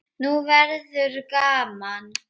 Nú verður gaman!